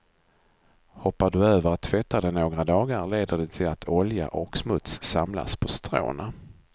Hoppar du över att tvätta det några dagar leder det till att olja och smuts samlas på stråna.